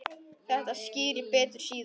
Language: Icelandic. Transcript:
Þetta skýrist betur síðar.